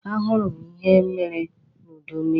A hụrụ m ihe mere n'udu mmịrị.